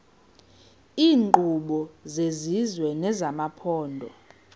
iinkqubo zesizwe nezamaphondo